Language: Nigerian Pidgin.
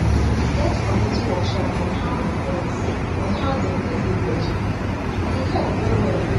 we be get community workshop on how them on how them take day breastfeed and e help well well